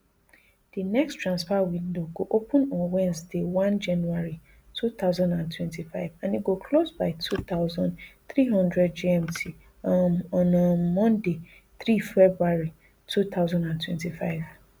di next transfer window go open on wednesday one january two thousand and twenty-five and e go close by two thousand, three hundred gmt um on um monday three february two thousand and twenty-five